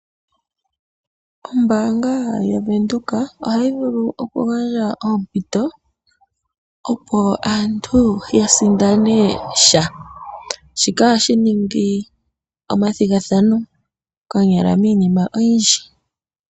Ombaanga yaVenduka ohayi vulu oku gandja oompito, opo aantu ya sindane sha shika ohashi ningi oompito miinima oyindji.